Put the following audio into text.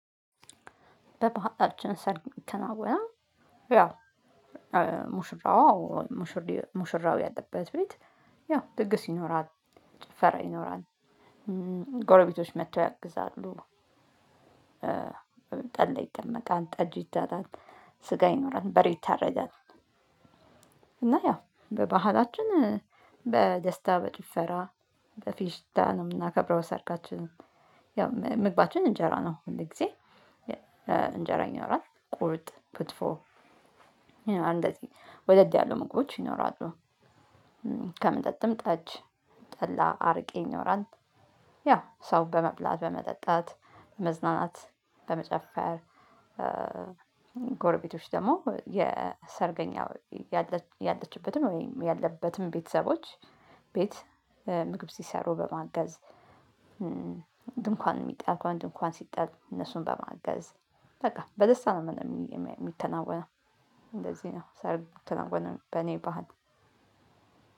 በባህላችን ሰርግ ይከናወናል። ያ ሙሽራው ሙሽር ሙሽራው ያለበት ቤት። ያው ድግስ ይኖራል ጭፈራ ይኖራል። ጎረቤቶች መጥተው ያግዛሉ። ጠላ ይጠመቃል ጠጅ ይጣላል ስጋ ይኖራል በሬ ይታረዳል። እና ያው በባህላችን በደስታ በጭፈራ በፌሽታ ነው የምናከብረው ሰርጋችንን። ያው ምግባችን እንጀራ ነው ሁል ጊዜ ይኖራል ቁርጥ ክትፎ። እንደዚህ ወደድ ያሉ ምግቦች ይኖራሉ። ከመጠጥም ጠጅ ጠላ አረቄ ይኖራል። ያው ሰው በመብላት በመጠጣት መዝናናት በመጨፈር። ጎርቤቶች ደግሞ የሰርገኛው ያለችበትም ወይም ያለበትም ቤተሰቦች ቤት ምግብ ሲሰሩ በማገዝ። ድንኳን የሚጣል ከሆነ ድንኳን ሲጣል እነሱን በማገዝ በቃ በደስታ ነው የሚከናወነው። እንደዚህ ነው ሰርግ ሚከናወነው በኔ ባህል